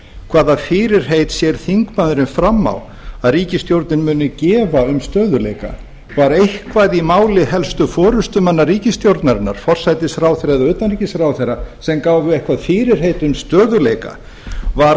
hvaða fyrirheit sér þingmaðurinn fram á að ríkisstjórnin muni gefa um stöðugleika var eitthvað í máli helstu forustumanna ríkisstjórnarinnar forsætisráðherra eða utanríkisráðherra sem gáfu eitthvert fyrirheit um stöðugleika var